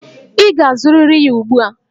Ị ga-azụrịrị ya ugbu a!